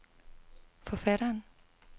forfatteren